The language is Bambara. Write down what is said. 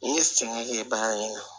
N'i ye sɛgɛn kɛ bagan ye